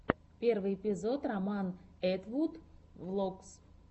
первый эпизод роман этвуд влогс